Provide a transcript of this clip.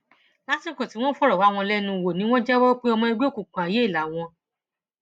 lásìkò tí wọn fọrọ wá wọn lẹnu wò ni wọn jẹwọ pé ọmọ ẹgbẹ òkùnkùn àìyè làwọn